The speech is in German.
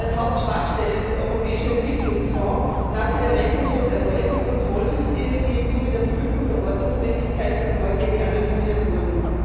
Als Hauptschwachstelle des Europäischen Entwicklungsfonds nannte der Rechnungshof erneut die Kontrollsysteme, die im Zuge der Prüfung der Ordnungsmäßigkeit der Vorgänge analysiert wurden.